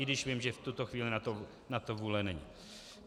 I když vím, že v toto chvíli na to vůle není.